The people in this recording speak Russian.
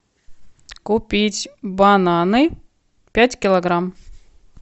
купить бананы пять килограмм